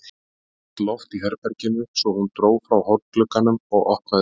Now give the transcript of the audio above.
Það var þungt loft í herberginu svo hún dró frá hornglugganum og opnaði út.